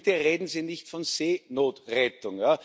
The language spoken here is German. Und bitte reden Sie nicht von Seenotrettung.